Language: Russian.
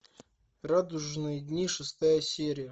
радужные дни шестая серия